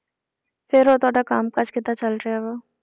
ਫਿਰ ਉਹ ਤੁਹਾਡਾ ਕੰਮ ਕਾਜ ਕਿੱਦਾਂ ਚੱਲ ਰਿਹਾ ਵਾ?